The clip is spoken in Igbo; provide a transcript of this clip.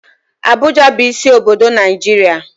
Abuja bụ isi obodo Naijiria